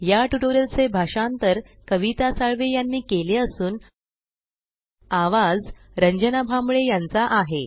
या ट्यूटोरियल चे भाषांतर कविता साळवे यांनी केले असून आवाज रंजना भांबळे यांचा आहे